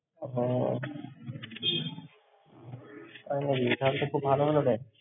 ওহ! আরে, এটা তো খুব ভালো হলো রে।